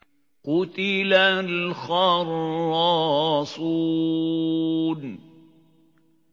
قُتِلَ الْخَرَّاصُونَ